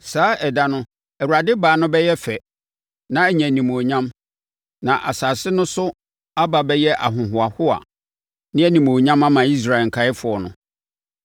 Saa ɛda no Awurade Baa no bɛyɛ fɛ na anya animuonyam, na asase no so aba bɛyɛ ahohoahoa ne animuonyam ama Israel nkaeɛfoɔ no.